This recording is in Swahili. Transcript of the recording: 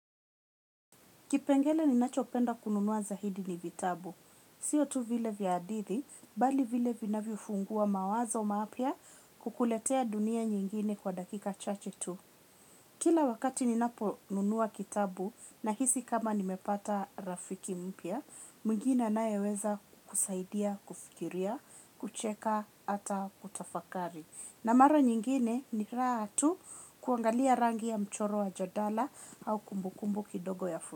Kipengele ninachopenda kununuwa zaidi ni vitabu. Sio tu vile vya hadithi, bali vile vinavyo funguwa mawazo mapya kukuletea dunia nyingine kwa dakika chache tu. Kila wakati ninapo nunua kitabu nahisi kama nimepata rafiki mpya, mwingine anaye weza kusaidia, kufikiria, kucheka, hata kutafakari. Na mara nyingine ni raha tu kuangalia rangi ya mchoro wa jadala au kumbukumbu kidogo ya fun.